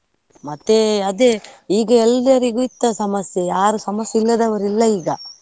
ಮತ್ತೆ ಅದೇ ಈಗ ಎಲ್ಲರಿಗೂ ಇತ್ತ ಸಮಸ್ಯೆ, ಯಾರು ಸಮಸ್ಯೆ ಇಲ್ಲದವರು ಇಲ್ಲ ಈಗ.